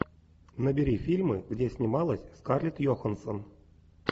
набери фильмы где снималась скарлетт йоханссон